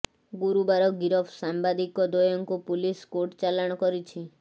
ଗୁରୁବାର ଗିରଫ ସମ୍ବାଦିକ ଦ୍ବୟଙ୍କୁ ପୁଲିସ କୋର୍ଟ ଚାଲାଣ କରିଛି